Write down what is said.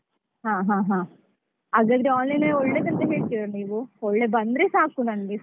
ಹಾ ಹಾ ಹಾ ಹಗದ್ರೆonline ನೇ ಒಳ್ಳೆದಂತ ಹೇಳ್ತೀರಾ ನೀವು ಒಳ್ಳೆ ಬಂದ್ರೆ ಸಾಕು ನಂಗೆ.